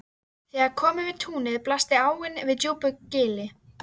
Þegar kom yfir túnið blasti áin við í djúpu gili.